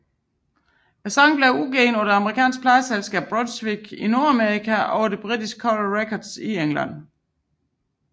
Sangen blev udgivet på det amerikanske pladeselskab Brunswick i Nordamerika og på det britiske Coral Records i England